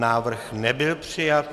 Návrh nebyl přijat.